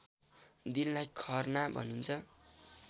दिनलाई खर्ना भनिन्छ